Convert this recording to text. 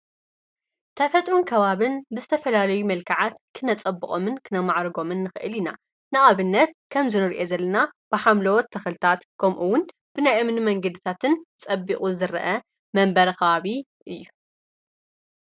ተፈጥሮን ከባብን ብዝተፈላለዩ መልክዓት ክነጸብቖምን ክነማዕርጎምን ንኽእል ኢና ።ንኣብነት ከምዚ ንሪኦ ዘልና ብሓምለዎት ተኽልታት ከምኡውን ብናይ እምኒ መንግድታትን ጸቢቑ ዝርአ መንበረ ኸባቢ እዩ።